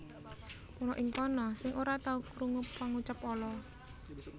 Ana ing kono sira ora tahu krungu pangucap ala